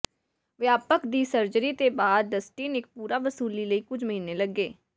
ਵਿਆਪਕ ਦੀ ਸਰਜਰੀ ਦੇ ਬਾਅਦ ਡਸਟਿਨ ਇੱਕ ਪੂਰਾ ਵਸੂਲੀ ਲਈ ਕੁਝ ਮਹੀਨੇ ਲੱਗੇ